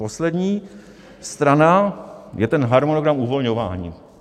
Poslední strana je ten harmonogram uvolňování.